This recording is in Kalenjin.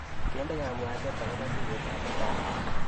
Kende kabwatet akobo tuiyetab mutai?